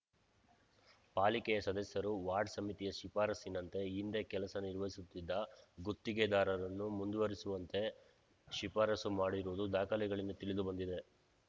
ಪಾಲಿಕೆಯ ಸದಸ್ಯರು ವಾರ್ಡ್‌ ಸಮಿತಿಯ ಶಿಫಾರಸ್ಸಿನಂತೆ ಹಿಂದೆ ಕೆಲಸ ನಿರ್ವಹಿಸುತ್ತಿದ್ದ ಗುತ್ತಿಗೆದಾರರನ್ನು ಮುಂದುವರೆಸುವಂತೆ ಶಿಫಾರಸು ಮಾಡಿರುವುದು ದಾಖಲೆಗಳಿಂದ ತಿಳಿದು ಬಂದಿದೆ